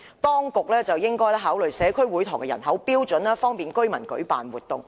當局應該考慮社區會堂的人口標準，方便居民舉辦活動。